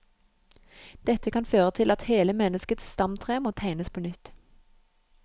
Dette kan føre til at hele menneskets stamtre må tegnes på nytt.